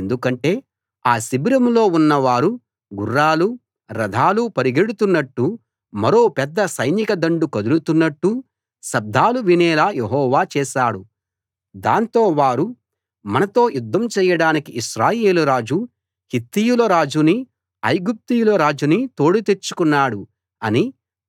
ఎందుకంటే ఆ శిబిరంలో ఉన్న వారు గుర్రాలూ రథాలూ పరిగెడుతున్నట్టూ మరో పెద్ద సైనిక దండు కదులుతున్నట్టూ శబ్దాలు వినేలా యెహోవా చేశాడు దాంతో వారు మనతో యుద్ధం చేయడానికి ఇశ్రాయేలు రాజు హిత్తీయుల రాజునీ ఐగుప్తీయుల రాజునీ తోడు తెచ్చుకున్నాడు అని